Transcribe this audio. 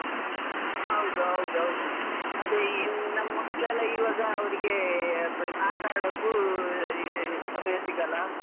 ಹೌದೌದು, ಅದೇ ಇನ್ ನಮ್ ಮ್ಯಾಕ್ಲೆಲ್ಲಾ ಇವಾಗ ಅವ್ರಿಗೆ ಆಟ ಅಡೊಕು ಸಮಯ ಸಿಗಲ್ಲ.